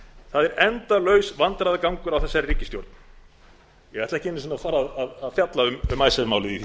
það er endalaus vandræðagangur á þessari ríkisstjórn ég ætla ekki einu sinni að fara að fjalla um icesave málið í